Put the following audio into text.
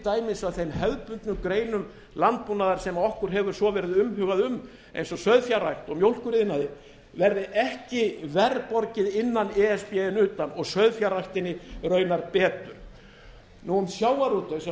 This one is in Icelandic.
dæmis að þeim hefðbundnu greinum landbúnaðar sem okkur hefur svo verið umhugað um eins og sauðfjárrækt og mjólkuriðnaði verði ekki verr borgið innan e s b en utan og sauðfjárræktinni raunar betur um sjávarútveg sem auðvitað skiptir